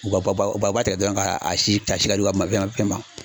U ka ba ba u b'a ta dɔrɔn ka a si ka si ka di u ka ma.